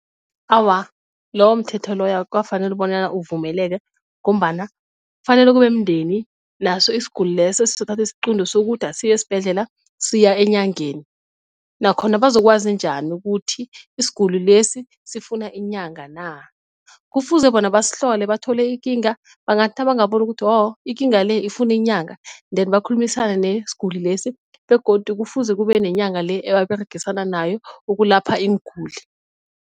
Awa, lowo mthetho loya akukafaneli bonyana uvumeleke ngombana kufanele kube mndeni naso isiguli leso esizokuthatha isiqunto sokuthi asiyi esibhedlela siya eenyangeni, nakhona bazokwazi njani ukuthi isiguli lesi sifuna inyanga na, kufuze bona basihlole bathole ikinga, bangathi nabangaboni ukuthi wo ikinga le ifuna inyanga then bakhulumisane yesiguli lesi, begodu kufuze kube nenyanga le ababeregisana nayo ukulapha iinguli.